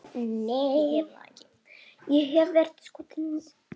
Halldór Pálsson